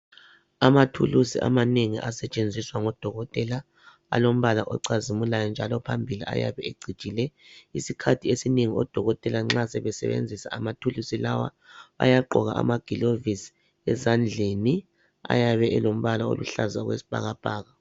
Amathulusi amanengi asetshenziswa ngodokotela alombala ocazimulayo njalo phambili ayabe ecijile isikhathi esinengi odokotela nxa sebesebenzisa amathulusi lawa bayagqoka amagilovisi ezandleni ayabe elombala oluhlaza okwesibhakabhaka